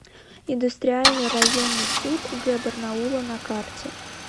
индустриальный районный суд г барнаула на карте